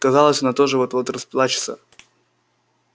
казалось она тоже вот-вот расплачется